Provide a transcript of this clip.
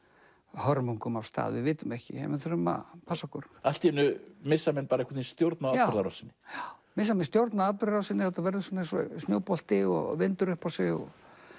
hörmungum af stað við vitum ekki við þurfum að passa okkur allt í einu missa menn einhvern stjórn á atburðarásinni já missa menn stjórn á atburðarásinni og þetta verður eins og snjóbolti og vindur upp á sig og